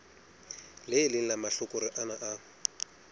leng la mahlakore ana a